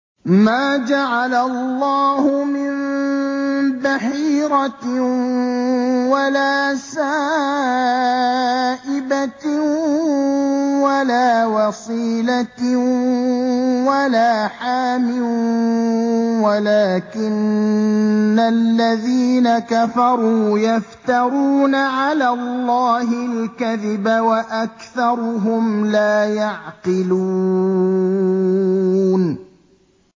مَا جَعَلَ اللَّهُ مِن بَحِيرَةٍ وَلَا سَائِبَةٍ وَلَا وَصِيلَةٍ وَلَا حَامٍ ۙ وَلَٰكِنَّ الَّذِينَ كَفَرُوا يَفْتَرُونَ عَلَى اللَّهِ الْكَذِبَ ۖ وَأَكْثَرُهُمْ لَا يَعْقِلُونَ